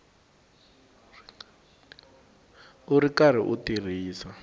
u ri karhi u tirhisa